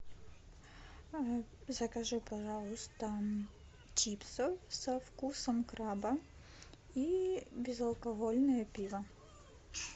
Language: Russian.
закажи пожалуйста чипсы со вкусом краба и безалкогольное пиво